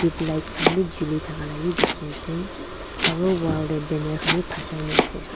tubelight khan bi chuli thaka labi dikhiase aro wall tae vi banner khan bi phasai naase.